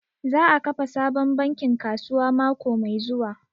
Za a kafa sabon bankin kasuwa mako mai zuwa